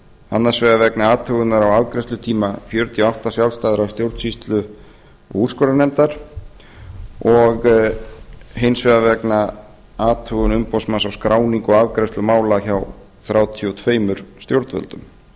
annars vegar vegna athugunar á afgreiðslutíma fjörutíu og átta sjálfstæðra stjórnsýslu og úrskurðarnefnda og hins vegar athugunar umboðsmanns á skráningu og afgreiðslu mála hjá þrjátíu og